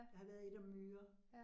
Der har været et om myrer